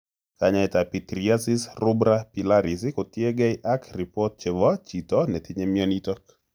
Kanyaetab pityriasis rubra pilaris kotiegei ak ripot chrbo chito netinye mionitok